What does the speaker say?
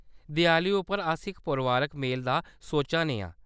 देआली उप्पर, अस इक परोआरक मेल दा सोच्चा ने आं।